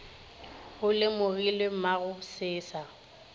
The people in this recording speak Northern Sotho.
go lemogilwe mogo se sa